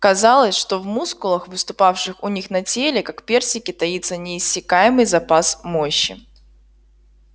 казалось что в мускулах выступавших у них на теле как персики таится неиссякаемый запас мощи